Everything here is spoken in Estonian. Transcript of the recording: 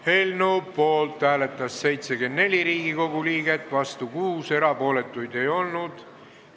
Hääletustulemused Eelnõu poolt hääletas 74 Riigikogu liiget, vastu oli 6, erapooletuid ei olnud.